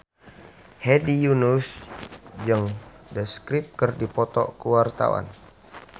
Hedi Yunus jeung The Script keur dipoto ku wartawan